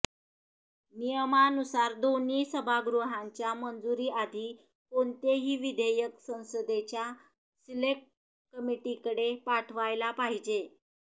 नियमानुसार दोन्ही सभागृहांच्या मंजुरीआधी कोणतेही विधेयक संसदेच्या सिलेक्ट कमिटीकडे पाठवायला पाहिजे